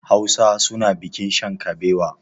Hausa suna bikin shan kabewa.